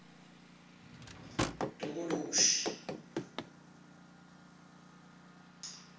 tokoloshi